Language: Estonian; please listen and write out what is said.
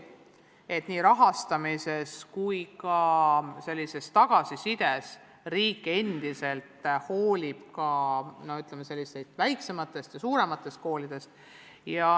Et nii rahastamise kui ka tagasiside puhul hooliks riik nii väiksematest kui ka suurematest koolidest.